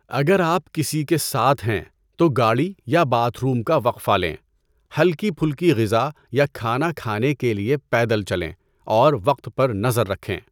اگر آپ کسی کے ساتھ ہیں، تو گاڑی یا باتھ روم کا وقفہ لیں، ہلکی پھلکی غذا یا کھانا کھانے کے لیے پیدل چلیں، اور وقت پر نظر رکھیں۔